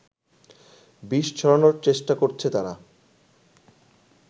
বিষ ছড়ানোর চেষ্টা করছে তারা